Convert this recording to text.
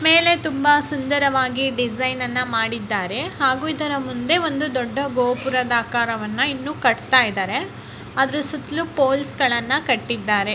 ಮೇಲೆ ತುಂಬಾ ಸುಂದರ ವಾಗಿ ಡಿಸೈನ್ ಅನ್ನು ಮಾಡಿದ್ದಾರೆ. ಹಾಗೂ ಇದ್ದಾರ ಮುಂದೆ ಒಂದು ದೊಡ್ಡ ಗೋಪುರದ ಆಕಾರವನ್ನ ಇನ್ನು ಕಟ್ಟುತಇದರೆ ಅದರ ಸುತ್ತಲೂ ಪೊಲೀ ಸ್ಗಳನ್ನ ಕಟ್ಟಿದರೆ.